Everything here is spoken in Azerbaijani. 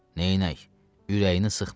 Neynək, ürəyini sıxma.